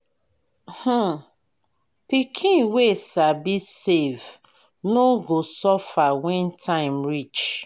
um pikin wey sabi save no go suffer when time reach.